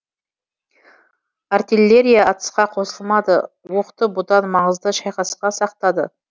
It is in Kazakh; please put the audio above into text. артеллерия атысқа қосылмады оқты бұдан маңызды шайқасқа сақтады